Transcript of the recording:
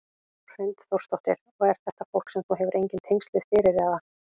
Hrund Þórsdóttir: Og er þetta fólk sem þú hefur engin tengsl við fyrir eða?